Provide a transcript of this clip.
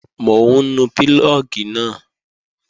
Mò ń nu púlọ̀gì náà